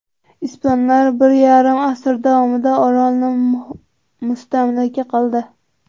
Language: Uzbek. Ispanlar bir yarim asr davomida orolni mustamlaka qildi.